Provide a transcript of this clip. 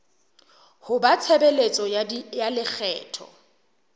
ho ba tshebeletso ya lekgetho